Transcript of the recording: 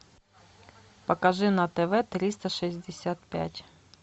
покажи на тв триста шестьдесят пять